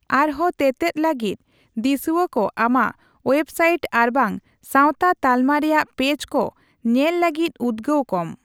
ᱟᱨᱦᱚᱸ ᱛᱮᱛᱮᱫ ᱞᱟᱹᱜᱤᱫ ᱫᱤᱚᱥᱩᱣᱟᱠᱚ ᱟᱢᱟᱜ ᱳᱭᱮᱵᱽᱥᱟᱭᱤᱴ ᱟᱨᱵᱟᱝ ᱥᱟᱣᱛᱟ ᱛᱟᱞᱢᱟ ᱨᱮᱭᱟᱜ ᱯᱮᱡᱽ ᱠᱚ ᱧᱮᱞ ᱞᱟᱜᱤᱫ ᱩᱫᱜᱟᱹᱣ ᱠᱚᱢ ᱾